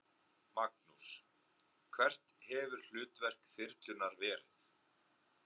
Magnús: Hvert hefur hlutverk þyrlunnar verið?